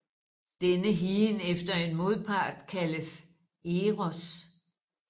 Denne higen efter en modpart kaldes Eros